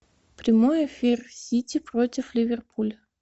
прямой эфир сити против ливерпуль